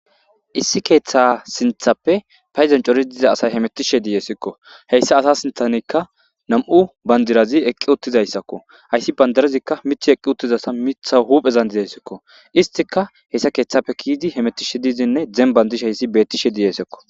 Issi keeththa sinthappe payzancori diza asay hemetishe diiyesikko heyssa asa sinthanikka nam'u bandirazi eqqi uttizayssakko hayssi bandarazikka mithi eqqi uttizasa mitha huphezandidayssikko istika hessa keeththappe kiidi hemettishe diizinne zem bandish hayssi bettishe diyesekko